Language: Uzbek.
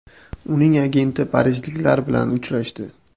Uning agenti parijliklar bilan uchrashdi.